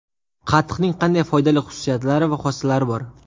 Qatiqning qanday foydali xususiyatlari va xossalari bor?